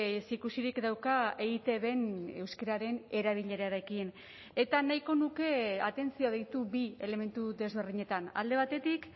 ezikusirik dauka eitbn euskararen erabilerarekin eta nahiko nuke atentzioa deitu bi elementu desberdinetan alde batetik